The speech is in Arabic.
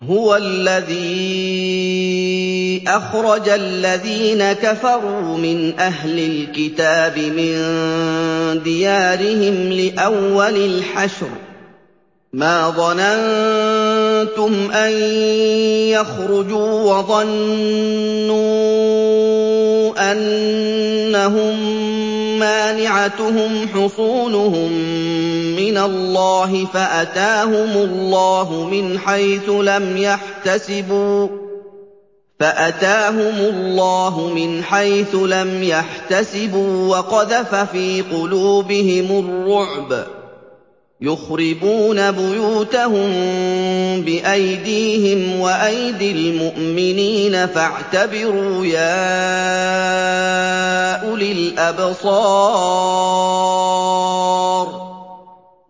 هُوَ الَّذِي أَخْرَجَ الَّذِينَ كَفَرُوا مِنْ أَهْلِ الْكِتَابِ مِن دِيَارِهِمْ لِأَوَّلِ الْحَشْرِ ۚ مَا ظَنَنتُمْ أَن يَخْرُجُوا ۖ وَظَنُّوا أَنَّهُم مَّانِعَتُهُمْ حُصُونُهُم مِّنَ اللَّهِ فَأَتَاهُمُ اللَّهُ مِنْ حَيْثُ لَمْ يَحْتَسِبُوا ۖ وَقَذَفَ فِي قُلُوبِهِمُ الرُّعْبَ ۚ يُخْرِبُونَ بُيُوتَهُم بِأَيْدِيهِمْ وَأَيْدِي الْمُؤْمِنِينَ فَاعْتَبِرُوا يَا أُولِي الْأَبْصَارِ